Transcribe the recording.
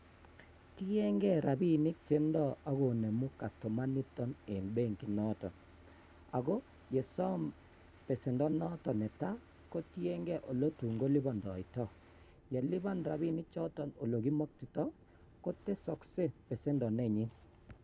Tieng'e rabinik chendo ak konemu kastoma niton en benki noton ak ko yesom besendo noton neta kotieng'e oletun kolipondoito, yelipan rabini choton elekimokto kotesoksee besendo nenyin.